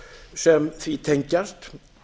sem því tengjast